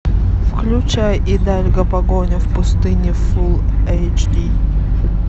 включай идальго погоня в пустыне фул эйч ди